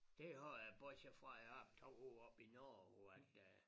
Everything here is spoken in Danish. Det har jeg bortset fra jeg har haft 2 år oppe i Norge at øh